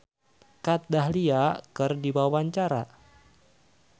Terry Putri olohok ningali Kat Dahlia keur diwawancara